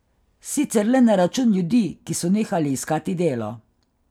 Sicer le na račun ljudi, ki so nehali iskati delo.